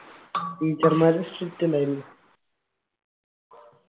teacher മാര് strict അല്ലായിരുന്നോ